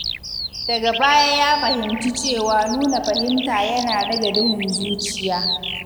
Daga baya ya fahimci cewa nuna fahimta yana rage duhun zuciya.